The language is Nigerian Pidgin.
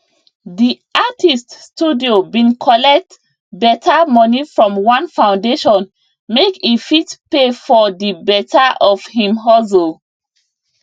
di artist studio bin collect beta money from one foundation make e fit pay for di beta of him hustle